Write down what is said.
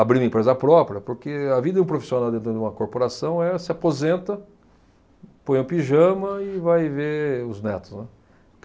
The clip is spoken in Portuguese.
abrir uma empresa própria, porque a vida de um profissional dentro de uma corporação é se aposenta, põe um pijama e vai ver os netos, né.